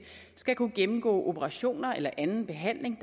skal kunne gennemgå operationer eller anden behandling